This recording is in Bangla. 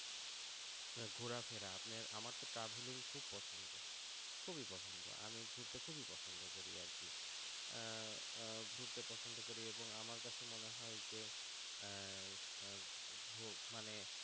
ঘোরাফেরা আপনি আমারতো দার্জিলিং খুবই পছন্দ, খুবই পছন্দ, আমি ঘুরতে খুবই পছন্দ করি আর কি ঘুরতে পছন্দ করি এবং আমার কাছে মনে হয় যে মানে